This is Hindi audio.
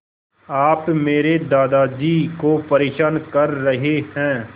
आप मेरे दादाजी को परेशान कर रहे हैं